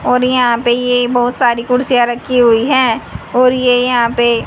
और यहां पर ये बहोत सारी कुर्सियां रखी हुई है और ये यहां पे--